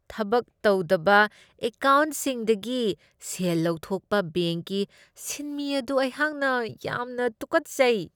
ꯊꯕꯛ ꯇꯧꯗꯕ ꯑꯦꯀꯥꯎꯟꯠꯁꯤꯡꯗꯒꯤ ꯁꯦꯜ ꯂꯧꯊꯣꯛꯄ ꯕꯦꯡꯛꯀꯤ ꯁꯤꯟꯃꯤ ꯑꯗꯨ ꯑꯩꯍꯥꯛ ꯌꯥꯝꯅ ꯇꯨꯀꯠꯆꯩ꯫